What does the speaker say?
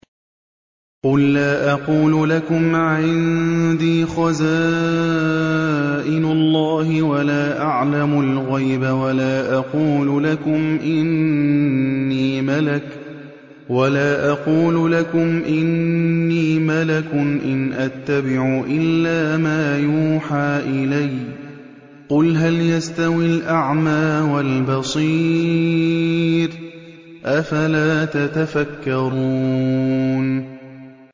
قُل لَّا أَقُولُ لَكُمْ عِندِي خَزَائِنُ اللَّهِ وَلَا أَعْلَمُ الْغَيْبَ وَلَا أَقُولُ لَكُمْ إِنِّي مَلَكٌ ۖ إِنْ أَتَّبِعُ إِلَّا مَا يُوحَىٰ إِلَيَّ ۚ قُلْ هَلْ يَسْتَوِي الْأَعْمَىٰ وَالْبَصِيرُ ۚ أَفَلَا تَتَفَكَّرُونَ